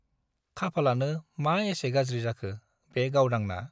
खाफालानो मा एसे गाज्रि जाखो बे गावदांना !